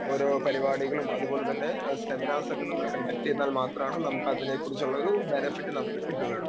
Speaker 2 ഓരോ പരിപാടികളും അതുപോലെതന്നെ സെമിനാർസ് ഒക്കെ നമ്മൾ കണ്ടക്ട ചെയ്താൽ മാത്രമേ നമുക്ക് അതിനെ കുറിച്ചുള്ളൊരു ബെനഫിറ്റ് നമുക്ക് കിട്ടുകയുള്ളൂ.